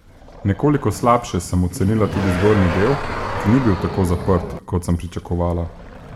Nekoliko slabše sem ocenila tudi zgornji del, ki ni bil tako zaprt, kot sem pričakovala.